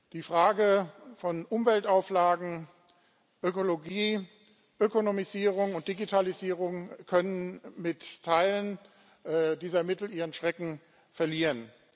Die Fragen von Umweltauflagen, Ökologie, Ökonomisierung und Digitalisierung können mit Teilen dieser Mittel ihren Schrecken verlieren.